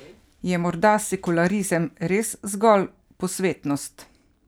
Je morda sekularizem res zgolj posvetnost?